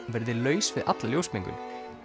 verði laus við alla ljósmengun